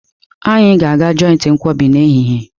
Anyị ga-aga joiti nkwobi n'ehihie